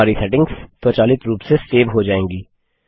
हमारी सेटिंग्स स्वचालित रूप से सेव ही जाएंगी